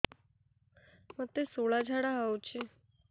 ମୋତେ ଶୂଳା ଝାଡ଼ା ହଉଚି